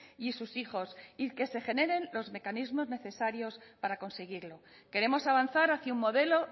y sus hijos y que se generen los mecanismos necesarios para conseguirlo queremos avanzar hacia un modelo